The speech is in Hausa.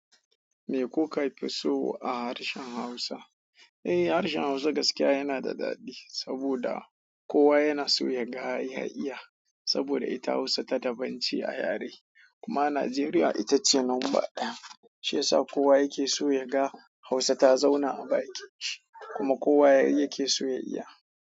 Me kuka fi so a harshen Hausa? Eh harshen Hausa gaskiya yanada daɗi, saboda kowa yanaso yaga ya iya saboda ita Hausa ta daban ce a yare. Kuma Najeriya ita ce number ɗaya, shi yasa kowa yake so ya ga Hausa ta zauna a baki kuma kowa yake so ya iya.